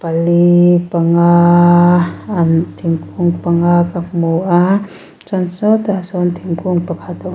pali panga an thingkung panga ka hmua chuan sawtah sawn thingkung pakhat--